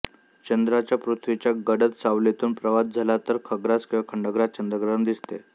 चंद्राचा पृथ्वीच्या गडद सावलीतून प्रवास झाला तर खग्रास किंवा खंडग्रास चंद्रग्रहण दिसते